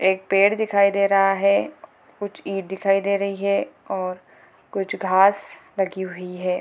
एक पेड़ दिखाई दे रहा है कुछ ईट दिखाई दे रही है और कुछ घास लगी हुई है |